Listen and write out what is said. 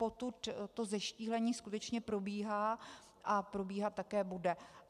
Potud to zeštíhlení skutečně probíhá a probíhat také bude.